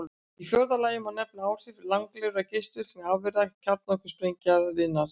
Í fjórða lagi má nefna áhrif langlífra geislavirkra afurða kjarnorkusprengingarinnar.